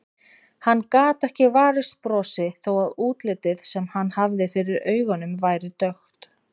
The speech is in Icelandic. Hann gat ekki varist brosi þó að útlitið sem hann hafði fyrir augunum væri dökkt.